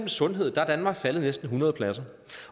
sundhed der er danmark faldet næsten hundrede pladser